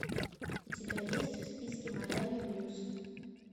у тебя есть в списке майами блюз